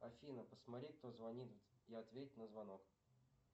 афина посмотреть кто звонит и ответь на звонок